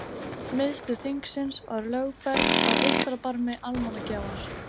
Miðstöð þingsins var Lögberg á eystra barmi Almannagjár.